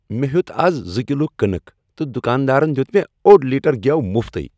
مےٚ ہیوٚت آز زٕ کلِو كنٕك تہٕ دُکاندارن دِیُت مےٚ اوٚڈ لیٹر گیٛو مفتٕے۔